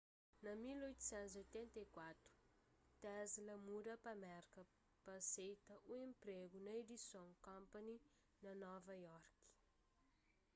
na 1884 tesla muda pa merka pa aseita un enpregu na edison company na nova iorki